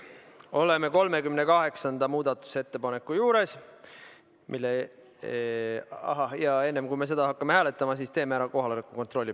Oleme 38. muudatusettepaneku juures, aga enne, kui me seda hääletama hakkame, teeme palun kohaloleku kontrolli.